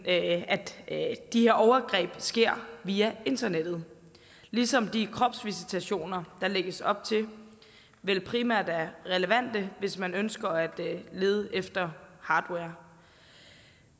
at de her overgreb sker via internettet ligesom de kropsvisitationer der lægges op til vel primært er relevante hvis man ønsker at lede efter hardware